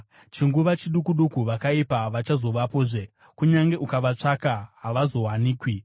Chinguva chiduku duku, vakaipa havachazovapozve; kunyange ukavatsvaka, havazowanikwi.